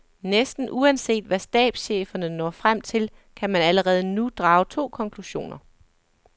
Næsten uanset hvad stabscheferne når frem til, kan man allerede nu drage to konklusioner.